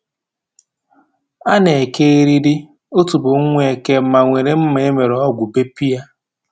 A na-eke eriri otubo nwa eke ma were mma e mere ọgwụ bepụ ya